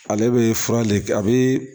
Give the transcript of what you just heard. Ale bɛ fura le kɛ a bɛ